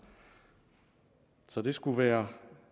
så det skulle være